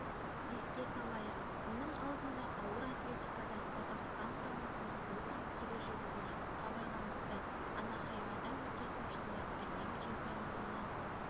еске салайық мұның алдында ауыр атлетикадан қазақстан құрамасына допинг ережебұзушылыққа байланысты анахаймада өтетін жылғы әлем чемпионатына